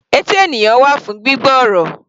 Etí ènìyàn wà fún gbígbọ́ ọ̀rọ̀.